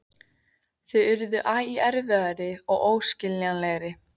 Þau urðu æ erfiðari og óskiljanlegri.